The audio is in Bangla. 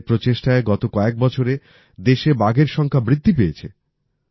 সরকারের প্রচেষ্টায় গত কয়েক বছরে দেশে বাঘের সংখ্যা বৃদ্ধি পেয়েছে